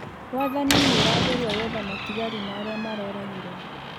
Wathanĩ nĩuragerĩa gwetha matĩgarĩ ma arĩa maroragirwo